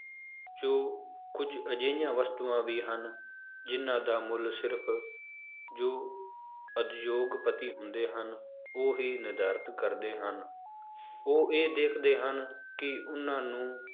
ਜੋ ਕੁੱਝ ਅਜਿਹੀਆਂ ਵਸਤੂਆਂ ਵੀ ਹਨ, ਜਿੰਨਾਂ ਦਾ ਮੁੱਲ ਸਿਰਫ਼ ਜੋ ਉਦਯੋਗਪਤੀ ਹੁੰਦੇ ਹਨ, ਉਹ ਹੀ ਨਿਰਧਾਰਤ ਕਰਦੇ ਹਨ, ਉਹ ਇਹ ਦੇਖਦੇ ਹਨ ਕਿ ਉਹਨਾਂ ਨੂੰ